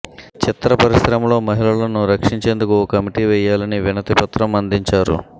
చిత్ర పరిశ్రమలో మహిళలను రక్షించేందుకు ఓ కమిటీని వేయాలని వినతిపత్రం అందించారు